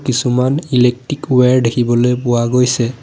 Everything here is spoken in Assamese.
কিছুমান ইলেকক্ট্ৰিক ৱেয়াৰ দেখিবলৈ পোৱা গৈছে।